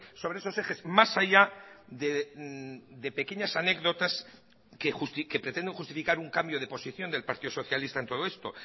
sobre esos ejes más allá de pequeñas anécdotas que pretendo justificar un cambio de posición del partido socialista en todo esto